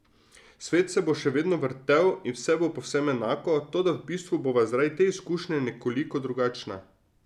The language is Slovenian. Svet se bo še vedno vrtel in vse bo povsem enako, toda v bistvu bova zaradi te izkušnje nekoliko drugačna.